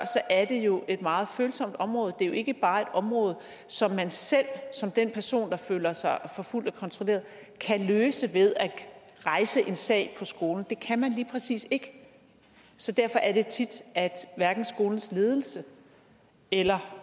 er det jo et meget følsomt område det er jo ikke bare et område som man selv som den person der føler sig forfulgt og kontrolleret kan løse ved at rejse en sag på skolen det kan man lige præcis ikke derfor er det tit at hverken skolens ledelse eller